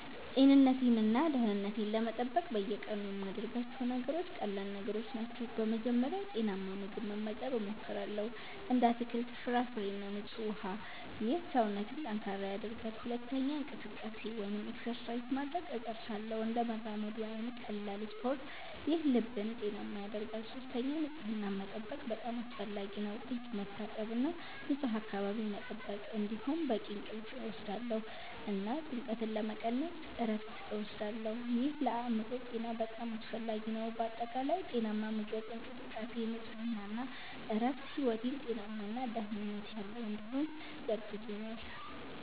ጤንነቴን እና ደህንነቴን ለመጠበቅ በየቀኑ የምያደርጋቸው ነገሮች ቀላል ነገሮች ናቸው። በመጀመሪያ ጤናማ ምግብ መመገብ እሞክራለሁ፣ እንደ አትክልት፣ ፍራፍሬ እና ንጹህ ውሃ። ይህ ሰውነትን ጠንካራ ያደርጋል። ሁለተኛ እንቅስቃሴ (exercise) ማድረግ እጥርሳለሁ፣ እንደ መራመድ ወይም ቀላል ስፖርት። ይህ ልብን ጤናማ ያደርጋል። ሶስተኛ ንጽህናን መጠበቅ በጣም አስፈላጊ ነው፣ እጅ መታጠብ እና ንፁህ አካባቢ መጠበቅ። እንዲሁም በቂ እንቅልፍ እወስዳለሁ እና ጭንቀትን ለመቀነስ እረፍት እወስዳለሁ። ይህ ለአእምሮ ጤና በጣም አስፈላጊ ነው። በአጠቃላይ ጤናማ ምግብ፣ እንቅስቃሴ፣ ንጽህና እና እረፍት ሕይወቴን ጤናማ እና ደህንነት ያለው እንዲሆን ያግዙኛል